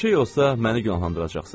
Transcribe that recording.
Bir şey olsa məni günahlandıracaqsız.